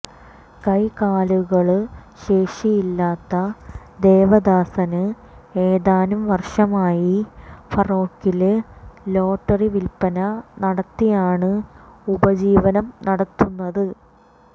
കൈകാലുകള് ശേഷിയില്ലാത്ത ദേവദാസന് ഏതാനും വര്ഷമായി ഫറോക്കില് ലോട്ടറി വില്പന നടത്തിയാണ് ഉപജീവനം നടത്തുന്നത്